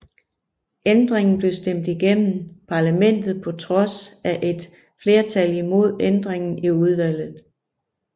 Ændringen blev stemt igennem Parlamentet på trods af et flertal imod ændringen i udvalget